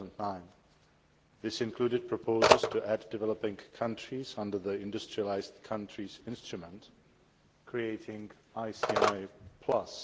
2009. These included proposals to add developing countries under the Industrialised Countries Instrument creating ICI Plus'.